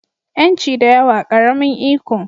Yanci da yawa, ƙaramin iko